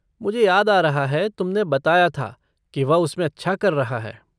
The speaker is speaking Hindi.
मुझे याद आ रहा है, तुमने बताया था कि वह उसमें अच्छा कर रहा है।